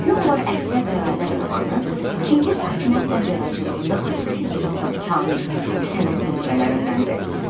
Gün var əsrə bərabər romanı Çingiz Aytmatovun yaradıcılığında xüsusi yer tutan kamil sənət nümunələrindəndir.